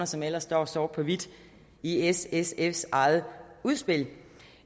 som ellers står sort på hvidt i s sfs eget udspil